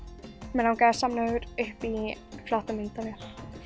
mig langaði að safna mér upp í flotta myndavél